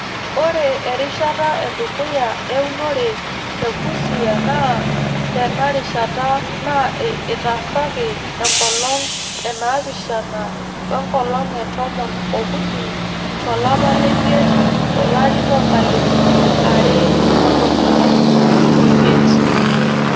Ore erishata edukuya eunore te Busia NAA teinarishata naa etaasaki enkolong enaapishana we nkolong e tomon ookuni to lapa lemiet to lari loo nkalifuni are otomon omiet.